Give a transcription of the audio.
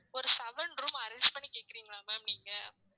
ஒரு seven room arrange பண்ணி கேக்குறீங்களா ma'am நீங்க